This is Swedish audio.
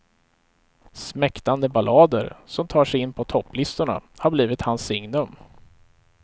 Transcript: Smäktande ballader som tar sig in på topplistorna har blivit hans signum.